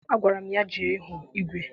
Agwara m ya jee hụ igwe!